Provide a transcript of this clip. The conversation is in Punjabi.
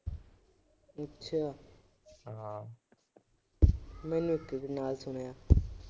ਮੈਨੂੰ ਇਕ ਕੈਨਾਲ ਸੁਣਿਆ।